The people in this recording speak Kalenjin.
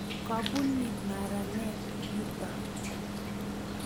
Kabuni maranet yuto?